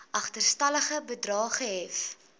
agterstallige bedrae gehef